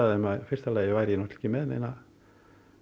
þeim að í fyrsta lagi væri ég ekki með neinar